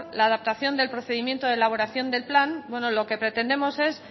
la adaptación del procedimiento de elaboración del plan bueno lo que pretendemos es